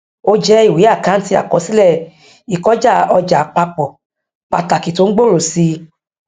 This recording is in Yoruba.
ó jẹ ìwé àkáǹtì àkọsílẹ ìkọjáọjà àpapọ pàtàkì tó ń gbòòrò sí i